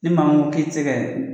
Ni maa min ko k'i se kɛ